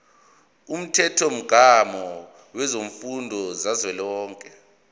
umthethomgomo wemfundo kazwelonke